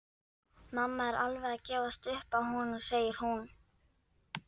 Mamma er alveg að gefast upp á honum, segir hún.